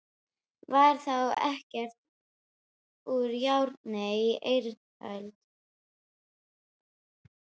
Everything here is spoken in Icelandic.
Var þá ekkert úr járni á eiröld?